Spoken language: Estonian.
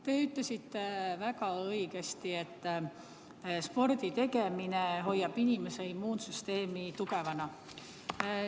Te ütlesite väga õigesti, et sporditegemine hoiab inimese immuunsüsteemi tugevana.